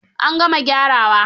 An gama gyarawa.